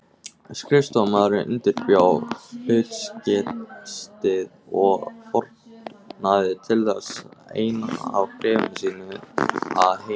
Skrifstofumaðurinn undirbjó hlutkestið og fórnaði til þess einu af bréfum sínum að heiman.